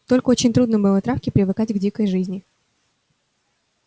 только очень трудно было травке привыкать к дикой жизни